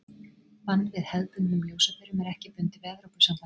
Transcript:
Bann við hefðbundnum ljósaperum er ekki bundið við Evrópusambandið.